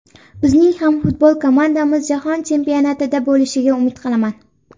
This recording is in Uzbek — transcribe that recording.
Bizning ham futbol komandamiz jahon chempionatida bo‘lishiga umid qilaman”.